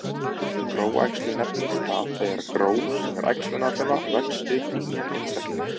Gróæxlun nefnist það þegar gró sem er æxlunarfruma, vex upp í nýjan einstakling.